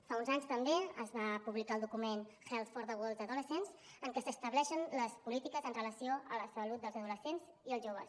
fa uns anys també es va publicar el document health for the world’s adolescents en què s’estableixen les polítiques amb relació a la salut dels adolescents i els joves